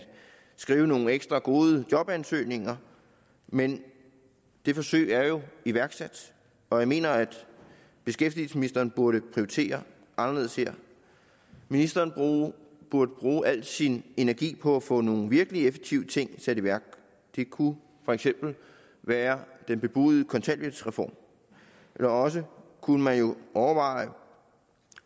skrive nogle ekstra gode jobansøgninger men det forsøg er jo iværksat og jeg mener at beskæftigelsesministeren burde prioritere anderledes her ministeren burde bruge al sin energi på at få nogle virkelig effektive ting sat i værk det kunne for eksempel være den bebudede kontanthjælpsreform eller også kunne man jo overveje